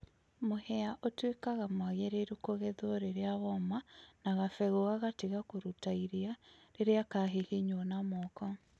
mũhĩa ũtũĩkaga mwagĩrĩrũ kũgethwo rĩrĩa woma na gabegũ gagatĩga kũrũta ĩrĩa rĩrĩa kahĩhĩnywo na mooko